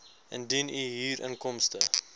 indien u huurinkomste